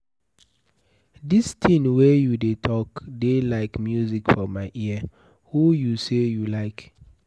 Dis thing wey you dey talk dey like music for my ear. Who you say you like?